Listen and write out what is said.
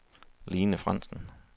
Lene Frandsen